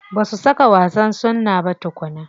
Ba su saka wa wasan suna ba tukunna.